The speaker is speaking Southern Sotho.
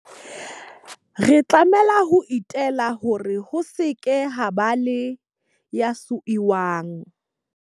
Re tlamehile ho itela hore ho se ke ha eba le ya siuwang.